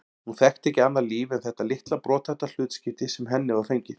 Hún þekkti ekki annað líf en þetta litla brothætta hlutskipti sem henni var fengið.